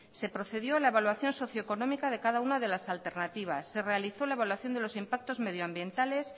se procedió a la evaluación socio económica de cada una de las alternativas se realizó la evaluación de los impactos medioambientales